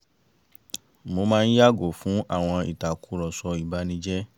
mo máa ń yààgò fún àwọn ìtàkùrọ̀sọ ìbanijẹ́